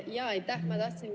Aitäh!